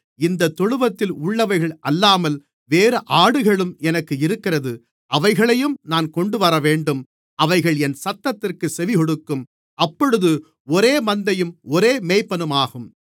இந்தத் தொழுவத்தில் உள்ளவைகள் அல்லாமல் வேறு ஆடுகளும் எனக்கு இருக்கிறது அவைகளையும் நான் கொண்டுவரவேண்டும் அவைகள் என் சத்தத்திற்குச் செவிகொடுக்கும் அப்பொழுது ஒரே மந்தையும் ஒரே மேய்ப்பனுமாகும்